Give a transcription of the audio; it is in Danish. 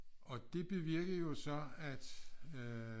Og det bevirkede jo så at øh